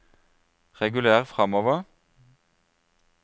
reguler framover